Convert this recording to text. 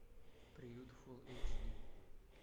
приют фул эйч ди